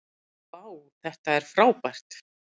vá þetta er frábært